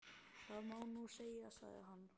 Það má nú segja, sagði hann.